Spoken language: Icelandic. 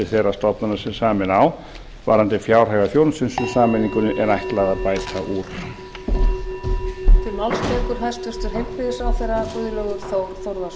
þeirra stofnana sem sameina á varðandi fjárhag eða þjónustu sem sameiningunni er ætlað að bæta úr